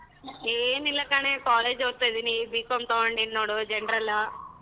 ಏನಿಲ್ಲ ಕಣೆ college ಓದ್ತಾ ಇದೀನ್ B.Com ತೊಗೊಂಡೀನ್ ನೋಡು general .